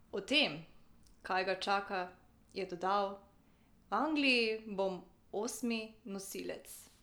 O tem, kaj ga čaka, je dodal: "V Angliji bom osmi nosilec.